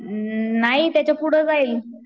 उम्म नाही त्याच्या पुढं जाईल.